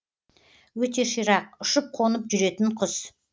өте ширақ ұшып қонып жүретін құс